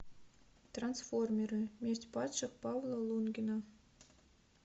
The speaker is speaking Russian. трансформеры месть падших павла лунгина